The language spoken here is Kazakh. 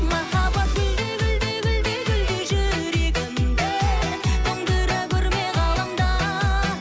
махаббат гүлдей гүлдей гүлдей гүлдей жүрегімді тоңдыра көрме ғаламда